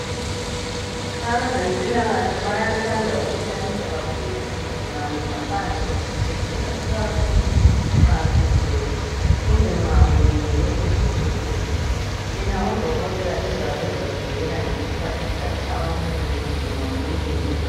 Abazempilakahle bayathanda ukuhlalisa kakhulu izigulane ngaphandle kwesibhedlela nxa sigcwele kumbe kulindelwe uDokotela. Yena uDokotela ezabe ezazibuyela ngesikhathi sakhe abantu sebedinwe yikulinda.